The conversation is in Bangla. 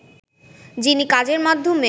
যিনি কাজের মাধ্যমে